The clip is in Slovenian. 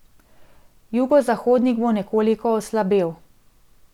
Jugozahodnik bo nekoliko oslabel.